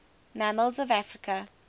mammals of africa